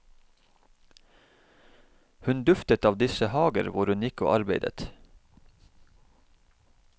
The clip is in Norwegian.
Hun duftet av disse hager hvor hun gikk og arbeidet.